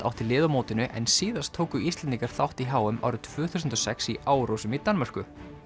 átti lið á mótinu en síðast tóku Íslendingar þátt í h m árið tvö þúsund og sex í Árósum í Danmörku